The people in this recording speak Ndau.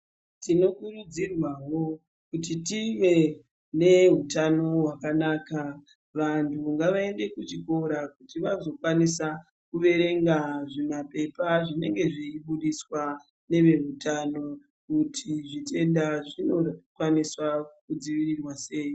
Tinokurudzirwaa kuti tive neutano hwakanaka. Vanhu ngavaende kuchikora kuti vazokwanisa kuverenga zvimapepa zvinenge zviibudiswaa neveutano kuti zvitenda zvinokwanisa zvinodzivirirwa sei.